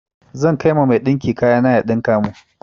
Zan kai ma mai ɗinki kaya na ya ɗinka mun.